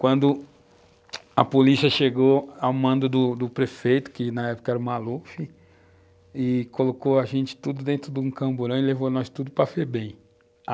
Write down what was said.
Quando a polícia chegou ao mando do prefeito, que na época era o Maluf, e colocou a gente tudo dentro de um camburão e levou a gente tudo para Febem.